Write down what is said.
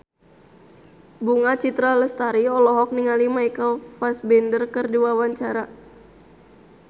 Bunga Citra Lestari olohok ningali Michael Fassbender keur diwawancara